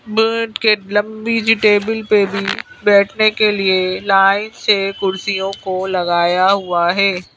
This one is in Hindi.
मेज़ के लम्बी सी टेबल पे भी बैठने के लिए लाइन से कुर्सियों को लगाया हुआ है।